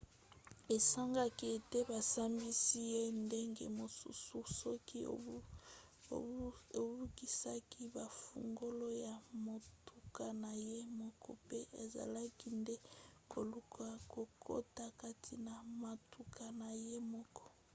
esengaki ete basambisi ye ndenge mosusu soki abungisaki bafungola ya motuka na ye moko pe azalaki nde koluka kokota kati na motuka na ye moko